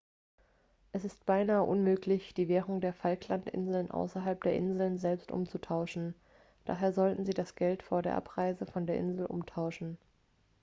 es ist beinahe unmöglich die währung der falklandinseln außerhalb der inseln selbst umzutauschen daher sollten sie das geld vor der abreise von der insel umtauschen.x